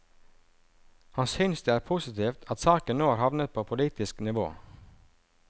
Han synes det er positivt at saken nå har havnet på politisk nivå.